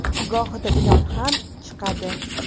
Gohida ilon ham chiqadi.